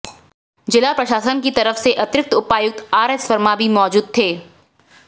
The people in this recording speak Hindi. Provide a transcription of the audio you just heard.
जिला प्रशासन की तरफ से अतिरिक्त उपायुक्त आरएस वर्मा भी मौजूद थे